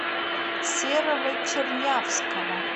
серого чернявского